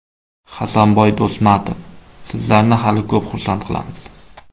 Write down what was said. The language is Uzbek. Hasanboy Do‘stmatov: Sizlarni hali ko‘p xursand qilamiz!.